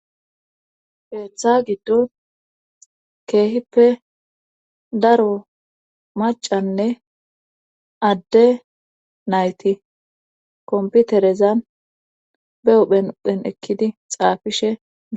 Heeththa giddo keehippe daro macanne adde nayti komputerezan be huhphen uphen ekkidi xaafishe